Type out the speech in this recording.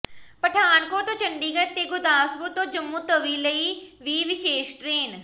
ਪਠਾਨਕੋਟ ਤੋਂ ਚੰਡੀਗੜ੍ਹ ਤੇ ਗੁਰਦਾਸਪੁਰ ਤੋਂ ਜੰਮੂਤਵੀ ਲਈ ਵੀ ਵਿਸ਼ੇਸ਼ ਟਰੇਨ